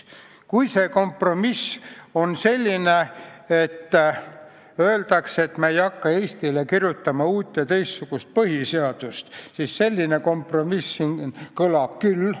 Kui see kompromiss on see, et öeldakse, et me ei hakka Eestile kirjutama uut ja teistsugust põhiseadust, siis selline kompromiss kõlbaks küll.